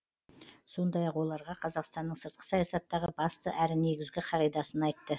сондай ақ оларға қазақстанның сыртқы саясаттағы басты әрі негізгі қағидасын айтты